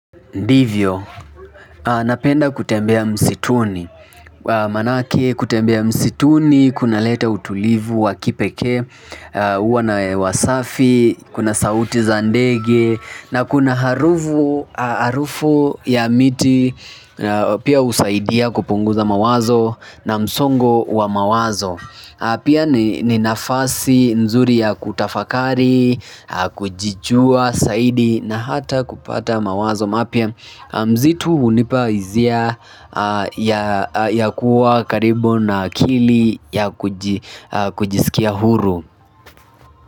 Ndivyo, napenda kutembea msituni manake kutembea msituni, kuna leta utulivu wa kipekee huwa na hewa safi, kuna sauti za ndege na kuna harufu ya miti pia husaidia kupunguza mawazo na msongo wa mawazo pia ni nafasi nzuri ya kutafakari kujijua, zaidi na hata kupata mawazo mapya msitu hunipa hisia ya kuwa karibu na akili ya kujisikia huru.